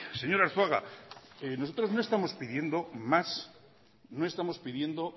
señor arzuaga nosotros no estamos pidiendo